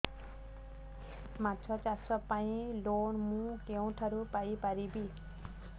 ମାଛ ଚାଷ ପାଇଁ ଲୋନ୍ ମୁଁ କେଉଁଠାରୁ ପାଇପାରିବି